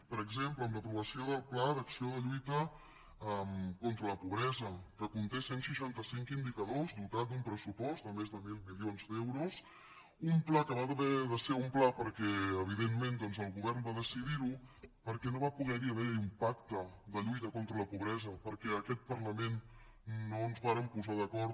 per exemple amb l’aprovació del pla d’acció de lluita contra la pobresa que conté cent i seixanta cinc indicadors dotat d’un pressupost de més de mil milions d’euros un pla que va haver de ser un pla perquè evidentment doncs el govern va decidir ho perquè no va poder haver hi un pacte de lluita contra la pobresa perquè en aquest parlament no ens vàrem posar d’acord